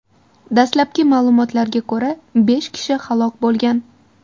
Dastlabki ma’lumotlarga ko‘ra, besh kishi halok bo‘lgan.